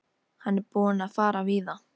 Hann er búinn að fara víða.